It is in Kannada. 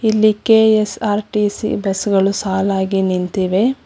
ಇಲ್ಲಿ ಕೆ_ಎಸ್_ಆರ್_ಟಿ_ಸಿ ಬಸ್ ಗಳು ಸಾಲಾಗಿ ನಿಂತಿವೆ.